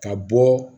Ka bɔ